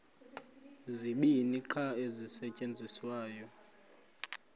zibini qha ezisasetyenziswayo